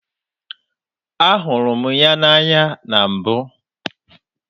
A hụrụ m ya n'anya na mbụ.